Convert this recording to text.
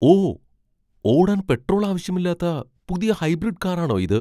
ഓ! ഓടാൻ പെട്രോൾ ആവശ്യമില്ലാത്ത പുതിയ ഹൈബ്രിഡ് കാറാണോ ഇത്?